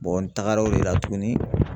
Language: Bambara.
n taagara o de la tugunni.